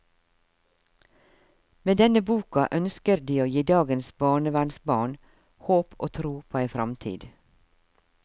Med denne boka ønsker de å gi dagens barnevernsbarn håp og tro på ei framtid.